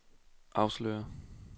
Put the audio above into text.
afslører